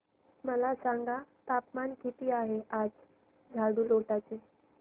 मला सांगा तापमान किती आहे आज झाडुटोला चे